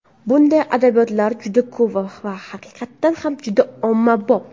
Bunday adabiyotlar juda ko‘p va haqiqatan ham juda ommabop.